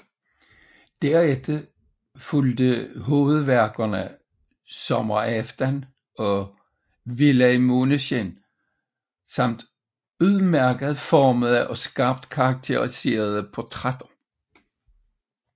Derefter fulgte hovedværkerne Sommeraften og Villa i Maaneskin samt udmærket formede og skarpt karakteriserede portrætter